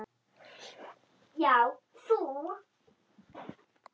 Já, þú!